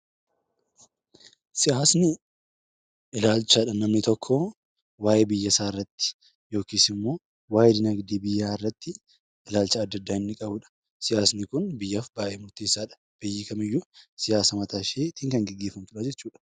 Siyaasni ilaalcha namni tokko waa'ee biyya isaa irratti yookiin waa'ee dinaagdee biyyaa irratti ilaalcha addaa addaa inni qabudha. Siyaasni Kun biyyaaf baayyee murteessaadha. Biyyi kamiyyuu siyaasa mataa isheetiin kan gaggeeffamudha.